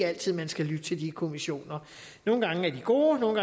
altid man skal lytte til de kommissioner nogle gange er de gode nogle